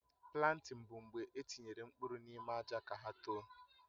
Plantịn bụ mgbe etinyere mkpụrụ n'ime àjà ka hà tòò